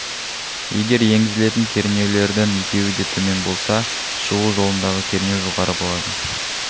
егер енгізілетін кернеулердің екеуі де төмен болса шығу жолындағы кернеу жоғары болады